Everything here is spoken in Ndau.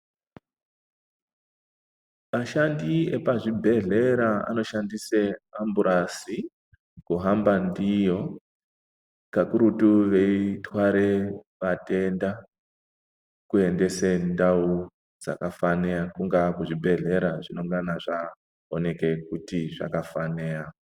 Ashandi epazvibhedhlera anoshandise amburasi kuhamba ndiyo, kakurutu veithware vatenda, kuendese kundau dzakafaneya, kungaa kuzvibhedhlera zvinengane zvaoneka kuti vakafanira.